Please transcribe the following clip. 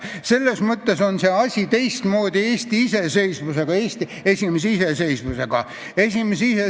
Selles mõttes oli see asi Eesti esimese iseseisvuse ajal teistmoodi.